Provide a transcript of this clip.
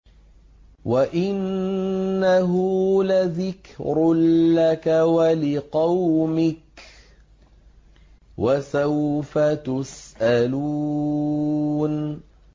وَإِنَّهُ لَذِكْرٌ لَّكَ وَلِقَوْمِكَ ۖ وَسَوْفَ تُسْأَلُونَ